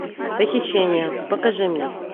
похищение покажи мне